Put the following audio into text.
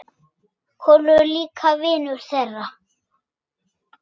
Kolur er líka vinur þeirra.